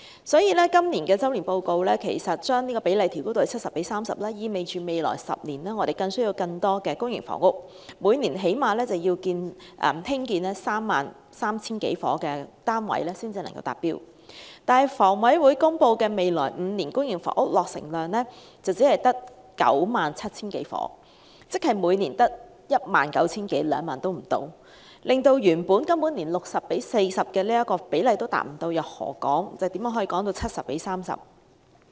所以，今年的周年進度報告把比例調高至 70：30， 意味未來10年需要更多公營房屋，每年最少要興建 33,000 多個單位才能達標，但香港房屋委員會公布未來5年公營房屋落成量只有 97,000 多個單位，即每年只有不足2萬個單位，根本連原本 60：40 的比例都無法達到，又何來 70：30 呢？